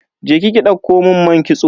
Je ki ki ɗauko mun man kitso.